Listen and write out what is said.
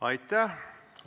Aitäh!